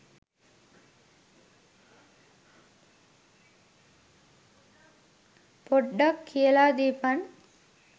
පොඩ්ඩක් කියල දීපන්